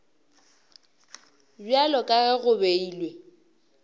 bjalo ka ge go beilwe